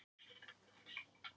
Mennirnir þögðu og litu undan.